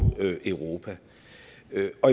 europa